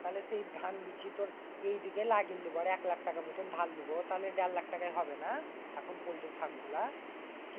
তাইলে সেই ধান বেচে এই দিকে নাগিল নিব আর এক লাক্ষ টাকার মতন ধার লিব। তাইলে তরু দের লাক্ষ টাকায় হবেনা? এখন পল্টির ফার্ম খোলা কিছু কম হলে?